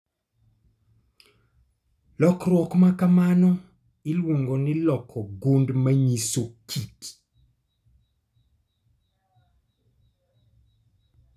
Lokruok ma kamano iluongo ni Loko gund manyiso kit